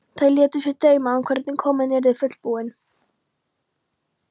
Þær létu sig dreyma um hvernig kofinn yrði fullbúinn.